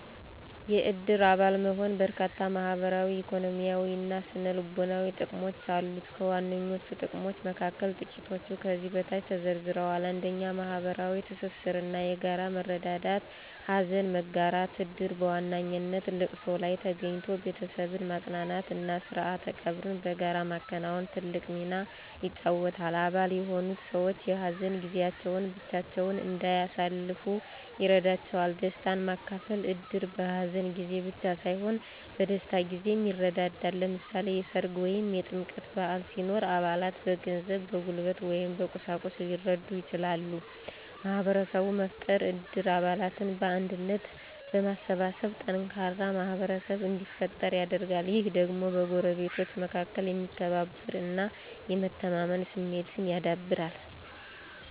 የእድር አባል መሆን በርካታ ማህበራዊ፣ ኢኮኖሚያዊ እና ስነ-ልቦናዊ ጥቅሞች አሉት። ከዋነኞቹ ጥቅሞች መካከል ጥቂቶቹ ከዚህ በታች ተዘርዝረዋል፦ 1. ማህበራዊ ትስስር እና የጋራ መረዳዳት * ሀዘን መጋራት: እድር በዋነኛነት ለቅሶ ላይ ተገኝቶ ቤተሰብን ማጽናናት እና ስርዓተ ቀብርን በጋራ ማከናወን ትልቅ ሚና ይጫወታል። አባል የሆኑት ሰዎች የሀዘን ጊዜያቸውን ብቻቸውን እንዳያሳልፉ ይረዳቸዋል። * ደስታን ማካፈል: እድር በሀዘን ጊዜ ብቻ ሳይሆን በደስታ ጊዜም ይረዳዳል። ለምሳሌ፣ የሠርግ ወይም የጥምቀት በዓል ሲኖር አባላት በገንዘብ፣ በጉልበት ወይም በቁሳቁስ ሊረዱ ይችላሉ። * ማህበረሰብ መፍጠር: እድር አባላትን በአንድነት በማሰባሰብ ጠንካራ ማህበረሰብ እንዲፈጠር ያደርጋል። ይህ ደግሞ በጎረቤቶች መካከል የመከባበር እና የመተማመን ስሜትን ያዳብራል